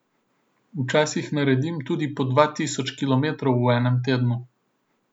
Včasih naredim tudi po dva tisoč kilometrov v enem tednu.